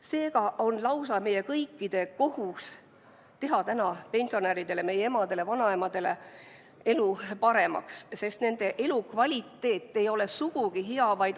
Seega on meie kõikide kohus teha täna pensionäride, meie emade-vanaemade elu paremaks, sest nende elukvaliteet ei ole sugugi hea.